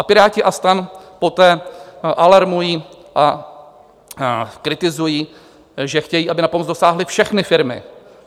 A Piráti a STAN poté alarmují a kritizují, že chtějí, aby na pomoc dosáhly všechny firmy.